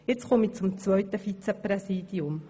Nun komme ich zum zweiten Vizepräsidium.